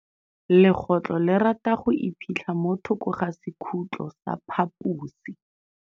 Legôtlô le rata go iphitlha mo thokô ga sekhutlo sa phaposi.